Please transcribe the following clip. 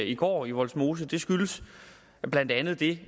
i går i vollsmose skyldes blandt andet det